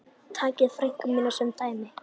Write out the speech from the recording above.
Takið frænku mína sem dæmi.